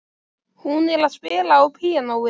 Hún er að spila á píanóið.